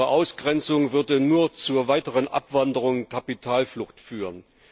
Ihre Ausgrenzung würde nur zur weiteren Abwanderung und Kapitalflucht führen.